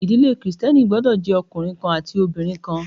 Ìdílé Kristẹni gbọ́dọ̀ jẹ́ ọkùnrin kan àti obìnrin kan